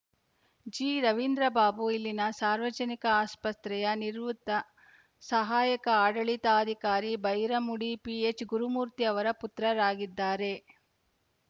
ಜಿರವಿಂದ್ರಬಾಬು ಇಲ್ಲಿನ ಸಾರ್ವಜನಿಕ ಆಸ್ಪತ್ರೆಯ ನಿವೃತ್ತ ಸಹಾಯಕ ಆಡಳಿತಾಧಿಕಾರಿ ಬೈರಮುಡಿ ಪಿಎಚ್‌ ಗುರುಮೂರ್ತಿ ಅವರ ಪುತ್ರರಾಗಿದ್ದಾರೆ